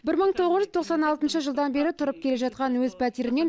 бір мың тоғыз жүз тоқсан алтыншы жылдан бері тұрып келе жатқан өз пәтерімнен